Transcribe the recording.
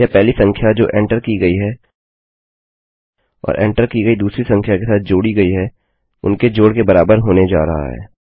यह पहली संख्या जो एंटर की गयी है और एंटर की गई दूसरी संख्या के साथ जोड़ी गई है उनके जोड़ के बराबर होने जा रहा है